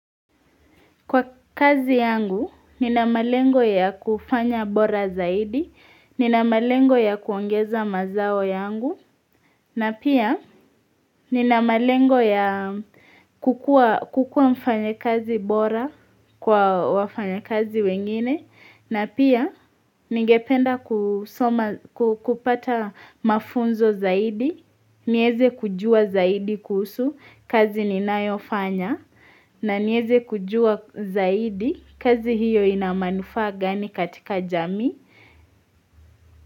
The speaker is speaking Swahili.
Kwa kazi yangu, nina malengo ya kufanya bora zaidi, nina malengo ya kuongeza mazao yangu, na pia nina malengo ya kukua mfanya kazi bora kwa wafanya kazi wengine, na pia, ningependa kupata mafunzo zaidi, nieze kujua zaidi kuhusu, kazi ninayofanya, na nieze kujua zaidi, kazi hiyo inamanufaa gani katika jamii.